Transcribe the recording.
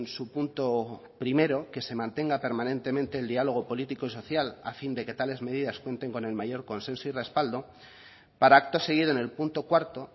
su punto primero que se mantenga permanentemente el diálogo político y social a fin de que tales medidas cuenten con el mayor consenso y respaldo para acto seguido en el punto cuarto